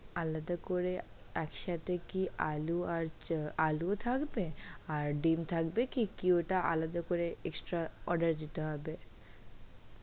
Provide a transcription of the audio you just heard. আলাদা করে এক সাথে কি আলু আর আলু ও থাকবে আর ডিম্ থাকবে কি? কি ওটা আলাদা করে extra order দিতে হবে?